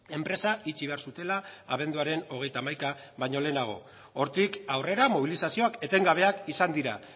enpresa itxi behar zutela abenduaren hogeita hamaika baino lehenago hortik aurrera mobilizazioak etengabeak izan dira